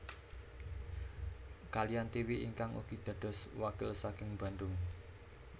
Kaliyan Tiwi ingkang ugi dados wakil saking Bandung